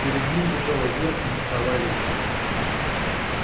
перед ним бежала вверх винтовая лестница